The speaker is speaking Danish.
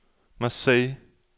Marseilles